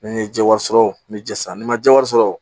Ni n ye ji wari sɔrɔ n bɛ ji san ni n ma jaa wari sɔrɔ